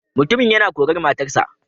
Mutumin yana korar matarsa.